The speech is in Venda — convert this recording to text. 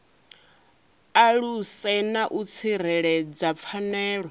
aluse na u tsireledza pfanelo